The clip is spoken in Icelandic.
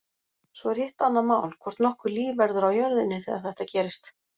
Svo er hitt annað mál, hvort nokkurt líf verður á jörðinni þegar þetta gerist.